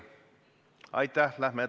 Aitäh!